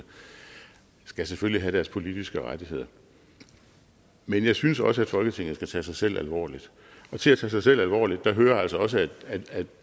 skal selvfølgelig have deres politiske rettigheder men jeg synes også at folketinget skal tage sig selv alvorligt og til at tage sig selv alvorligt hører altså også